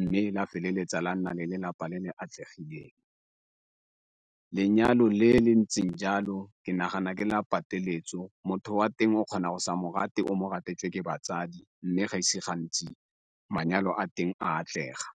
mme la feleletsa la nna le lelapa le le atlegileng. Lenyalo le le ntseng jalo ke nagana ke la pateletso motho o a teng o kgona go sa mo rate o mo ratetswe ke batsadi mme ga ise gantsi manyalo a teng atlega.